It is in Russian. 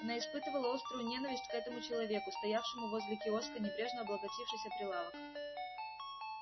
она испытывала острую ненависть к этому человеку стоявшему возле киоска небрежно облокотившись о прилавок